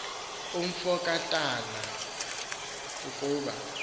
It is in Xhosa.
umfo kantakana ukuba